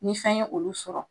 Ni fɛn y'olu sɔrɔ